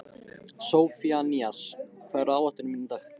Sophanías, hvað er á áætluninni minni í dag?